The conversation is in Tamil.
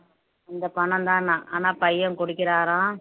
இந்த பணம்தான்னாம் ஆனால் பையன் குடிக்கிறாராம்